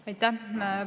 Aitäh!